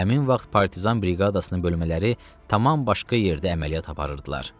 Həmin vaxt partizan briqadasının bölmələri tamam başqa yerdə əməliyyat aparırdılar.